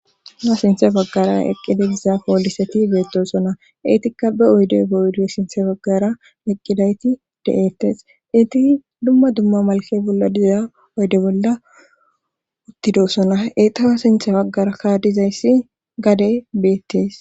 Na sinthe baggara eqqide giza kooliseti beettosona eetikka ba oyde boydo sinthe baggara eqqidayti de7eettes iti dumma dumma malke bolla dizza oyde bolla uttidoosona etawa sinthe baggara kaadizayssi gadey beettes